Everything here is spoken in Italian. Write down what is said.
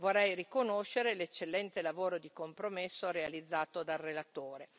Vorrei riconoscere l'eccellente lavoro di compromesso realizzato dal relatore.